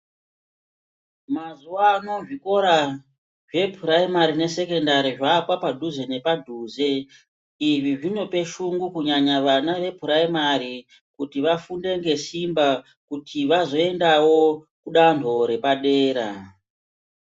Mazuvaano zvikora zveprimary nesekendari zvaava padhuze nepadhuze, izvi zvinope shungu kunyanya vana veprimary kuti vafunde ngesimba kuti vazoendawo kudanho repadera